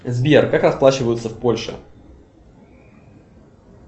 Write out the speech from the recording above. сбер как расплачиваются в польше